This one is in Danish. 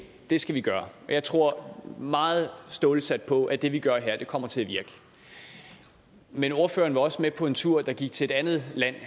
i det skal vi gøre jeg tror meget stålsat på at det vi gør her kommer til at virke men ordføreren var også med på en tur der gik til et andet land